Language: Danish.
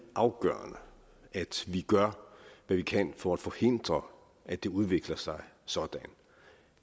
afgørende at vi gør hvad vi kan for at forhindre at det udvikler sig sådan